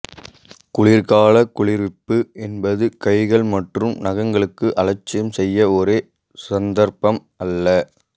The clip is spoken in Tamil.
குளிர்காலக் குளிர்விப்பு என்பது கைகள் மற்றும் நகங்களுக்கு அலட்சியம் செய்ய ஒரு சந்தர்ப்பம் அல்ல